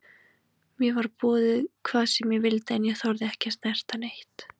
Mér var boðið hvað sem ég vildi en ég þorði ekki að snerta neitt.